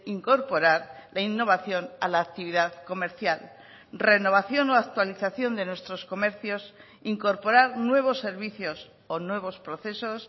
incorporar la innovación a la actividad comercial renovación o actualización de nuestros comercios incorporar nuevos servicios o nuevos procesos